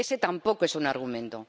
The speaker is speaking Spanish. Ese tampoco es un argumento.